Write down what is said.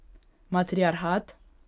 Matriarhat?